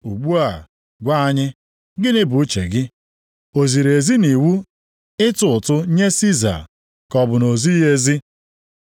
Ugbu a gwa anyị, gịnị bụ uche gị? O ziri ezi nʼiwu ịtụ ụtụ nye Siza, ka ọ bụ na o zighị ezi?”